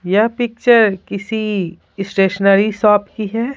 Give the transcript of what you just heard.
यह पिक्चर किसी stationery shop की है।